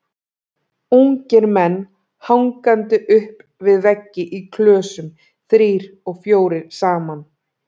Ungir menn hangandi upp við veggi í klösum, þrír og fjórir saman.